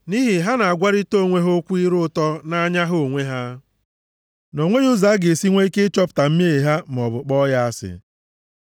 Nʼihi ha na-agwarịta onwe ha okwu ire ụtọ nʼanya ha onwe ha, na o nweghị ụzọ a ga-esi nwe ike ịchọpụta mmehie ha maọbụ kpọọ ya asị.